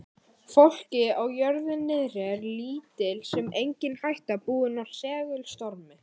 fólki á jörðu niðri er lítil sem engin hætta búin af segulstormi